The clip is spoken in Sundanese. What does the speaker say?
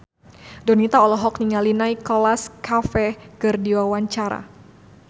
Donita olohok ningali Nicholas Cafe keur diwawancara